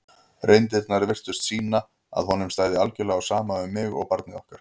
reyndirnar virtust sýna að honum stæði algjörlega á sama um mig og barnið okkar.